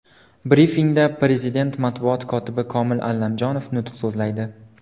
Brifingda Prezident matbuot kotibi Komil Allamjonov nutq so‘zlaydi.